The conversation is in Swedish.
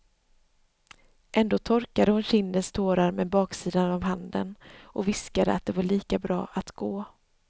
Ändå torkade hon kindens tårar med baksidan av handen och viskade att det var lika bra att gå.